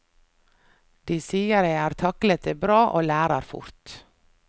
De sier jeg har taklet det bra og lærer fort.